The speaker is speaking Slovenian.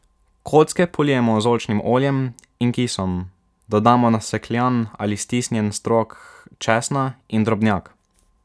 Kocke polijemo z oljčnim oljem in kisom, dodamo nasekljan ali stisnjen strok česna in drobnjak.